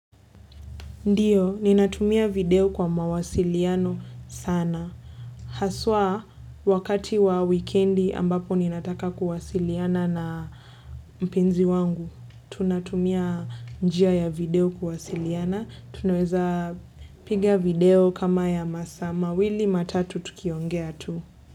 Ndiyo, ninatumia video kwa mawasiliano sana. Haswa wakati wa wikendi ambapo ninataka kwa wasiliana na mpenzi wangu. Tunatumia njia ya video kuwasiliana. Tunaweza piga video kama ya masaa. Wili ma tatu tuki onge tu.